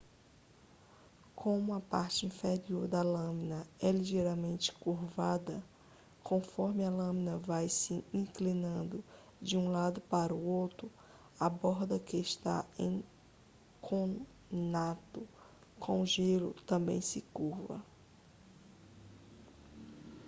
como a parte inferior da lâmina é ligeiramente curvada conforme a lâmina vai se inclinando de um lado para outro a borda que está em conato com o gelo também se curva